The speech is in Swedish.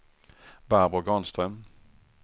Barbro Granström